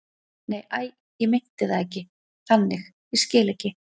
Nei, æi, ég meinti það ekki þannig, ég skil ekki.